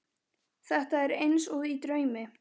Þetta er eins og í draumi.